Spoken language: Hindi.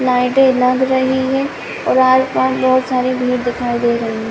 लाइटे लग रही है और आस पास बोहत सारी भीड़ दिखाई दे रही --